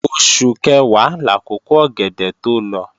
Oṣù Kẹ̀wá làkókò ọ̀gẹ̀dẹ̀ tó lọ